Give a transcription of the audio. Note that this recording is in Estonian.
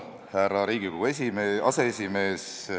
Härra Riigikogu aseesimees!